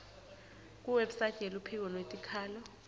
kuwebsite yeluphiko lwetikhalo